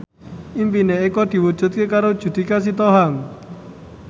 impine Eko diwujudke karo Judika Sitohang